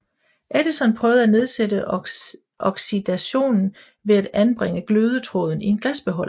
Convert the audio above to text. Edison prøvede at nedsætte oxidationen ved at anbringe glødetråden i en glasbeholder